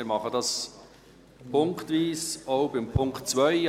Wir machen das punktweise, auch bei Punkt 2.